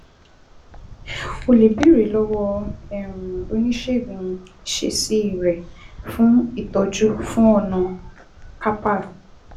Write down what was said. O lè béèrè lọ́wọ́ um oníṣègùn ìṣesí rẹ fún ìtọ́jú fún ọ̀nà Carpal